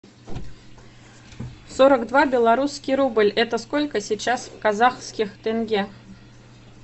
сорок два белорусский рубль это сколько сейчас в казахских тенге